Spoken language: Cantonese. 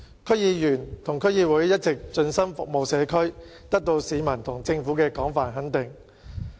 區議員和區議會一直盡心服務社區，得到市民和政府的廣泛肯定。